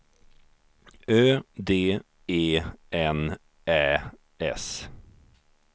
Ö D E N Ä S